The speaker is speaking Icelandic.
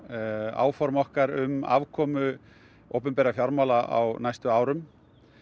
áform okkar um afkomu opinberra fjármála á næstu árum